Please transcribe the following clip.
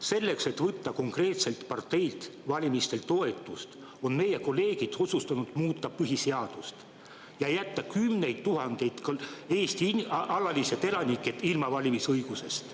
Selleks, et võtta konkreetselt parteilt valimistel toetust, on meie kolleegid otsustanud muuta põhiseadust ja jätta kümned tuhanded Eesti alalised elanikud ilma valimisõigusest.